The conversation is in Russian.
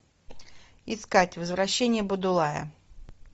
искать возвращение будулая